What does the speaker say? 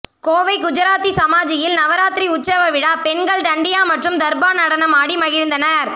கோவை குஜராத்தி சமாஜில் நவராத்திரி உற்சவ விழா பெண்கள் டண்டியா மற்றும் தர்பா நடனம் ஆடி மகிழ்ந்தனர்